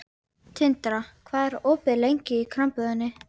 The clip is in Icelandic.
Tindra, hvað er opið lengi í Krambúðinni?